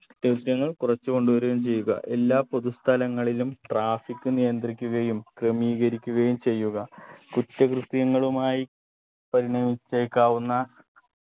കുറ്റകൃത്യങ്ങൾ കുറച്ച് കൊണ്ടുവരുകയും ചെയ്യുക എല്ലാ പൊതുസ്ഥലങ്ങളിലും traffic നിയന്ത്രിക്കുകയും ക്രമീകരിക്കുകയും ചെയ്യുക കുറ്റകൃത്യങ്ങളുമായി പരിണമിച്ചേക്കാവുന്ന